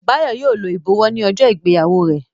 Bayo yíò ló ibọwọ ní ojó ìgbéyàwó rẹ.